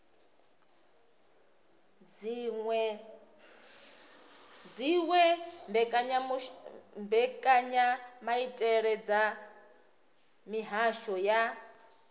dziwe mbekanyamaitele dza mihasho ya